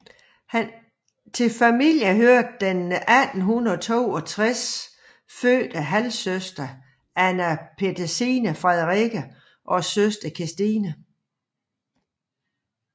Til familien hørte den 1862 fødte havlsøster Anna Petersine Frederikke og søsteren Kristine